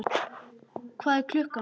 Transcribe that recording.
Hvað er klukkan?